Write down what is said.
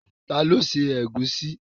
Ta ló se ẹ̀gúsí?